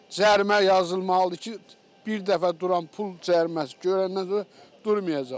Cərimə yazılmalıdır ki, bir dəfə duran pul cəriməsi görəndən sonra durmayacaq.